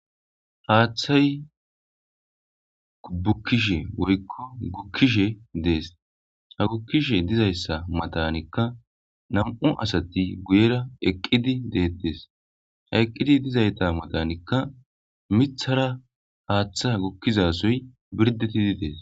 Haththay bukishshen woyikko gukishshen de'es ha gukishshen de'za maththanikka nam'u asati guyera eqqidi de'ates he eqqidi de'iza maththinikka miththara haththa gukizza sohoy birdhdhetidi de'es.